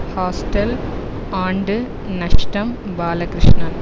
hostel ஆண்டு நஷ்டம் பாலகிருஷ்ணன்